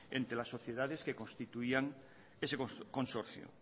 entre las sociedades que constituían ese consorcio